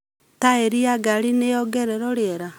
Taeri ya ngari nĩyongererwo rĩera